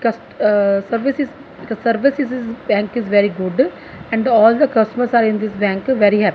cust ahh services services bank is very good and all the customers are in this Bank very happ--